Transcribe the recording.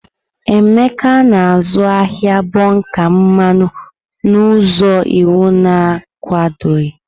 Emeka na-azụ ahịa bonka mmanụ n'ụzọ iwu na-akwadoghị.